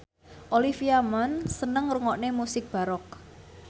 Olivia Munn seneng ngrungokne musik baroque